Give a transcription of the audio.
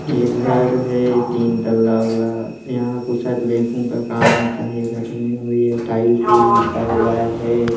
ये घर है तीन तल्ला वाला यहाँ कुछ शायद बैंको का काम होता है घर मे और ये टाइल्स विल्स बिछा हुआ है।